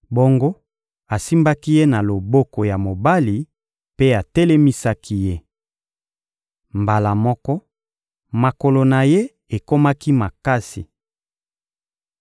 Bongo, asimbaki ye na loboko ya mobali mpe atelemisaki ye. Mbala moko, makolo na ye ekomaki makasi.